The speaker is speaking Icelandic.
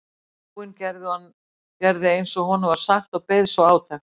Íbúinn gerði eins og honum var sagt og beið svo átekta.